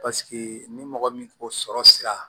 Paseke ni mɔgɔ min ko sɔrɔ sira